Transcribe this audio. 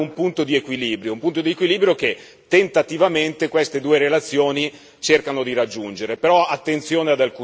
Allora bisognerebbe trovare un punto di equilibrio, un punto di equilibrio che tentativamente queste due relazioni cercano di raggiungere.